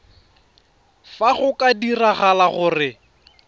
fa go ka diragala gore